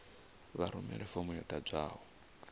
vha rumele fomo yo ḓadzwaho